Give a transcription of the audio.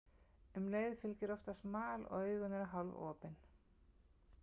Um leið fylgir oftast mal og augun eru hálfopin.